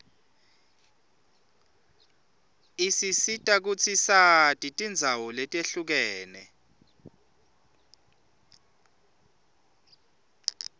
isisita kutsi sati tindzawo letihlukene